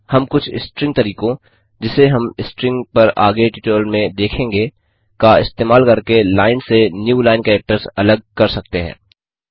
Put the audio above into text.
हम कुछ स्ट्रिंग तरीकों जिसे हम स्ट्रिंग पर आगे ट्यूटोरियल में देखेंगे का इस्तेमाल करके लाइन से न्यू लाइन कैरेक्टर्स अलग कर सकते हैं